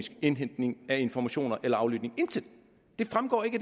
indhentning af informationer eller aflytning intet det fremgår ikke